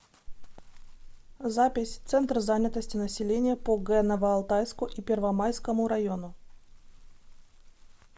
запись центр занятости населения по г новоалтайску и первомайскому району